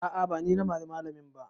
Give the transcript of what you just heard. A'a ba ni na mari malamin ba